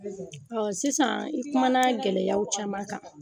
Ɔn sisan i kumana gɛlɛyaw caman kan.